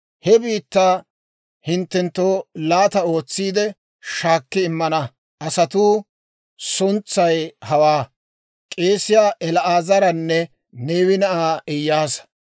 «He biittaa hinttenttoo laata ootsiide, shaakki immana asatuu suntsay hawaa; k'eesiyaa El"aazaranne Neewe na'aa Iyaasa.